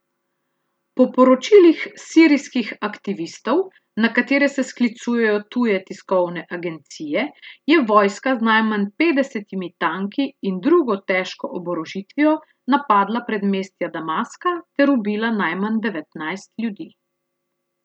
Po poročilih sirijskih aktivistov, na katere se sklicujejo tuje tiskovne agencije, je vojska z najmanj petdesetimi tanki in drugo težko oborožitvijo napadla predmestja Damaska ter ubila najmanj devetnajst ljudi.